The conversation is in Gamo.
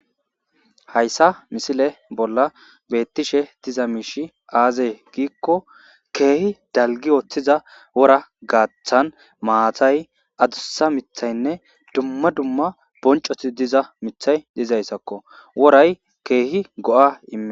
hayssa misile bolla beettishe diza miishi aazee giikko keehi dalgi ooththiza wora gaaththan maatay adussa mithaynne dumma dumma boncoti diza mithay dizayssakko woray keehi go'a imees